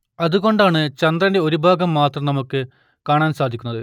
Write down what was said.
അതുകൊണ്ടാണ് ചന്ദ്രന്റെ ഒരു ഭാഗം മാത്രം നമുക്ക് കാണാൻ സാധിക്കുന്നത്